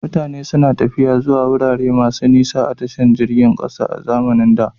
Mutane suna tafiya zuwa wurare masu nisa ta jiragen ƙasa a zamanin da.